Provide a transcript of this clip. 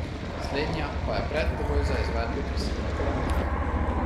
Slednja pa je predpogoj za izvedbo prisilne poravnave.